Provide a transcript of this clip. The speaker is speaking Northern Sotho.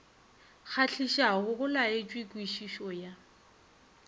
kgahlišago go laetšwe kwešišo ya